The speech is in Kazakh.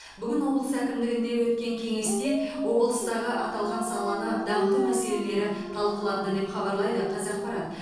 бүгін облыс әкімдігінде өткен кеңесте облыстағы аталған саланы дамыту мәселелері талқыланды деп хабарлайды қазақпарат